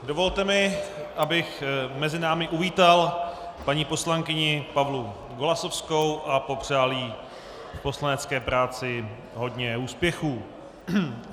Dovolte mi, abych mezi námi uvítal paní poslankyni Pavlu Golasowskou a popřál jí v poslanecké práci hodně úspěchů.